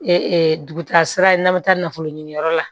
Ee duguta sira in n'an bɛ taa nafolo ɲini yɔrɔ la